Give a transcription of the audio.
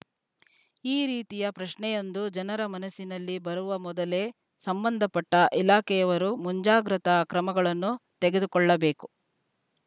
ಈ ರೀತಿಯ ಪ್ರಶ್ನೆಯೊಂದು ಜನರ ಮನಸ್ಸಿನಲ್ಲಿ ಬರುವ ಮೊದಲೇ ಸಂಬಂಧಪಟ್ಟಇಲಾಖೆಯವರು ಮುಂಜಾಗ್ರತಾ ಕ್ರಮಗಳನ್ನು ತೆಗೆದುಕೊಳ್ಳಬೇಕು